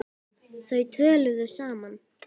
Þau töluðu saman.